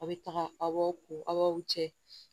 Aw bɛ taga aw cɛ